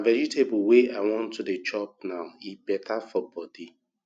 na vegetable wey i wan to dey chop now e beta for body